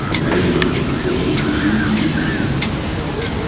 загорелые ухоженные мужчины смеялись